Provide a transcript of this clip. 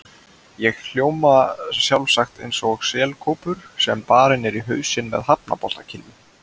Ég hljóma sjálfsagt eins og selkópur sem barinn er í hausinn með hafnaboltakylfu.